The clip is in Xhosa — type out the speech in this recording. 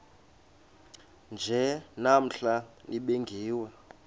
nje namhla nibingiwe